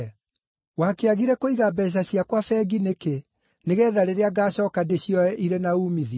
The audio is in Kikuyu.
Wakĩagire kũiga mbeeca ciakwa bengi nĩkĩ, nĩgeetha rĩrĩa ngaacooka ndĩcioye irĩ na uumithio?’